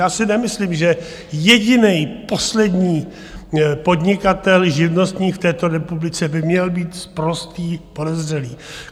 Já si nemyslím, že jediný poslední podnikatel, živnostník v této republice by měl být sprostý podezřelý.